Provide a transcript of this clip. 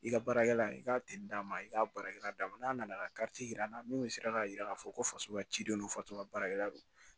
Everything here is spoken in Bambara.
I ka baarakɛla i ka d'a ma i k'a baarakɛla d'a ma n'a nana yira an na min sera k'a jira k'a fɔ ko faso ka ciden don faso ka baarakɛla don